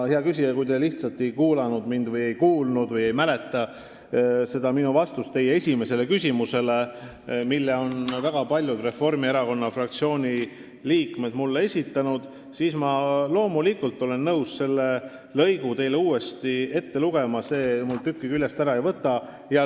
Hea küsija, kui te lihtsalt ei kuulanud mind või ei kuulnud või ei mäleta minu vastust teie esimesele küsimusele, mille on mulle esitanud väga paljud Reformierakonna fraktsiooni liikmed, siis ma olen loomulikult nõus selle lõigu teile uuesti ette lugema, see mul tükki küljest ära ei võta.